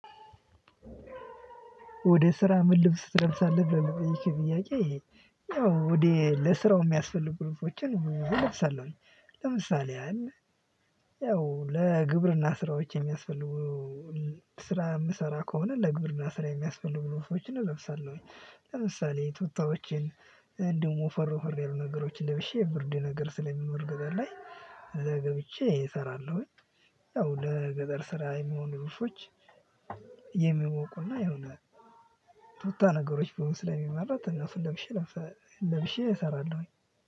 ወደ ስራ ምን ልብስ ትለብሳለህ ብሎ ይሄ ጥያቄ ይሄ? ያው ወደ ለስራው የሚያስፈልጉ ልብሶችን ለምሳሌ ያህል ያው ለግብርና ስራዎች የሚያስፈልጉ ስራ የምሰራ ከሆነ ለግብርና ስራ የሚያስፈልጉ ልብሶችን እለብሳለሁኝ። ለምሳሌ ቱታዎችን። እንደውም ወፈርሶ ወፈር ያሉ ነገሮችን ለብሼ ብርድ ነገር ስለሚኖር ገጠር ላይ ገብቼ እሰራለሁኝ። ያው ለገጠር ስራ የመሆኑ ልብሶች። የሚሞቁና ይሆነ ቱታ ነገሮች ቢሆኑ ስለሚመረጥ እነሱን ለብሼ። ለብሼ እሰራለሁኝ።